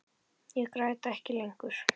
Ég græt ekki lengur.